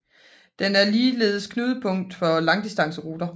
Den er ligeledes knudepunkt for langdistanceruter